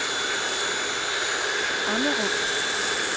Ammerup